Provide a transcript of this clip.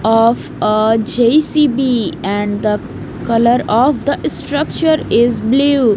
of a J_C_B and the colour of the structure is blue.